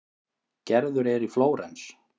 Gerður er í Flórens.